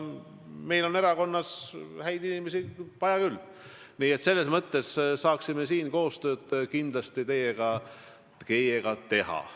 Meil on erakonnas häid inimesi vaja küll, selles mõttes saaksime siin kindlasti koostööd teha.